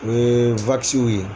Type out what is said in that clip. U ye ye.